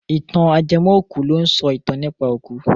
Ìtàn ajẹmọ́-òkú ló ń sọ ìtàn nípa òkú.